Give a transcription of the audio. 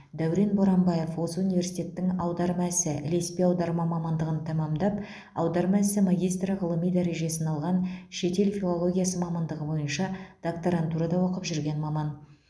дәурен боранбаев осы университеттің аударма ісі ілеспе аударма мамандығын тәмамдап аударма ісі магистрі ғылыми дәрежесін алған шетел филологиясы мамандығы бойынша докторантурада оқып жүрген маман